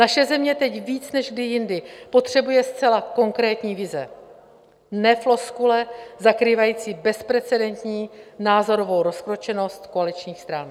Naše země teď víc než kdy jindy potřebuje zcela konkrétní vize, ne floskule zakrývající bezprecedentní názorovou rozkročenost koaličních stran.